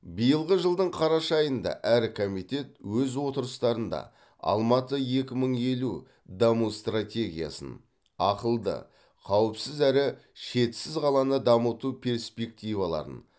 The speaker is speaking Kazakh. биылғы жылдың қараша айында әр комитет өз отырыстарында алматы екі мың елу даму стратегиясын ақылды қауіпсіз әрі шетсіз қаланы дамыту перспективаларын